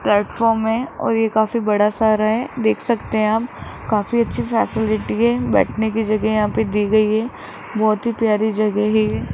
Platform है और ये काफी बड़ा सा रहा है देख सकते हैं आप काफी अच्छी फैसिलिटी है बैठने की जगह यहां पे दी गई है बहोत ही प्यारी जगह है ये।